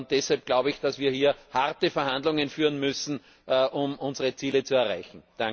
Deshalb glaube ich, dass wir hier harte Verhandlungen führen müssen, um unsere Ziele zu erreichen.